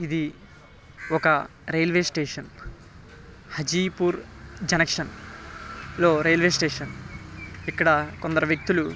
ఇధి ఒక railway station Hajipur junction లో రైల్వే స్టేషన్ ఇక్కడ కొందరు వ్యక్తులు --